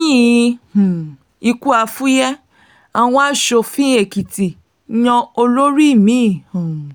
lẹ́yìn um ikú àfùyẹ àwọn aṣòfin èkìtì yan olórí mi um